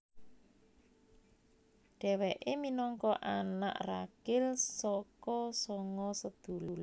Dhewéke minangka anak ragil saka sanga sedulur